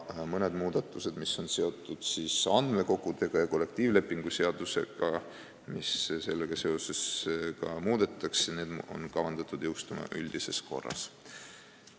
Mõned muudatused, mis on seotud andmekogudega ja kollektiivlepingu seadusega, on kavandatud jõustuma üldises korras.